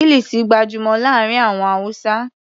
Kilisi gbajúmọ̀ láàárín àwọn Hausa.